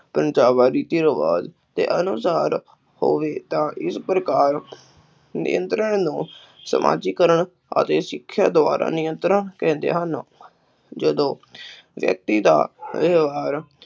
ਹੋਵੇ ਤਾਂ ਇਸ ਪ੍ਰਕਾਰ ਨਿਯੰਤਰਣ ਨੂੰ ਸਮਾਜੀਕਰਨ ਅਤੇ ਸਿੱਖਿਆ ਦੁਆਰਾ ਨਿਯੰਤਰਣ ਕਹਿੰਦੇ ਹਨ, ਜਦੋਂ ਵਿਅਕਤੀ ਦਾ ਵਿਵਹਾਰ